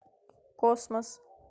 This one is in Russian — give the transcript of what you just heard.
космос